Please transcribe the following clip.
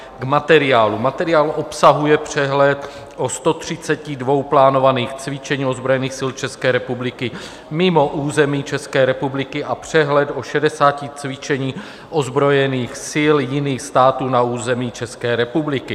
K materiálu: materiál obsahuje přehled o 132 plánovaných cvičeních ozbrojených sil České republiky mimo území České republiky a přehled o 60 cvičeních ozbrojených sil jiných států na území České republiky.